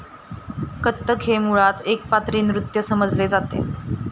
कत्थक हे मुळात एकपात्री नृत्य समजले जाते.